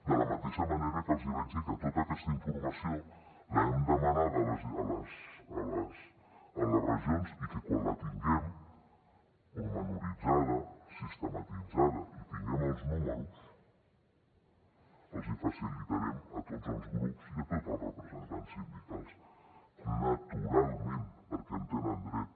de la mateixa manera que els hi vaig dir que tota aquesta informació l’hem demanada a les regions i que quan la tinguem detallada sistematitzada i tinguem els números els hi facilitarem a tots els grups i a tots els representants sindicals naturalment perquè hi tenen dret